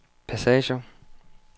passager